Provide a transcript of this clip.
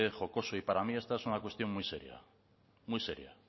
jocoso y para mí esta es una cuestión muy seria